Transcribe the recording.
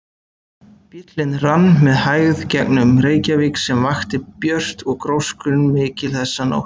Bíllinn rann með hægð gegnum Reykjavík sem vakti björt og gróskumikil þessa nótt.